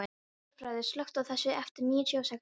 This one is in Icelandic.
Hjörfríður, slökktu á þessu eftir níutíu og sex mínútur.